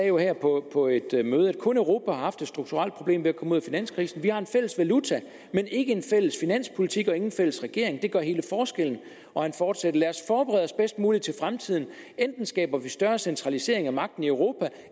jo her på et møde kun europa har haft et strukturelt problem ved at komme ud af finanskrisen vi har en fælles valuta men ikke en fælles finanspolitik og ingen fælles regering det gør hele forskellen han fortsætter lad os forberede os bedst muligt til fremtiden enten skaber vi større centralisering af magten i europa